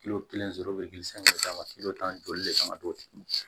kelen sɔrɔ u bɛ gili san ka d'a ma tan joli de kama do